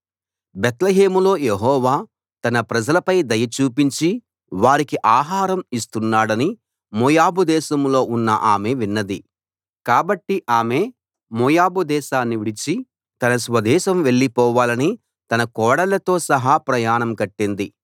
బేత్లెహేములో Jehovah తన ప్రజలపై దయ చూపించి వారికి ఆహారం ఇస్తున్నాడని మోయాబు దేశంలో ఉన్న ఆమె విన్నది కాబట్టి ఆమె మోయాబు దేశాన్ని విడిచి తన స్వదేశం వెళ్ళిపోవాలని తన కోడళ్ళతో సహా ప్రయాణం కట్టింది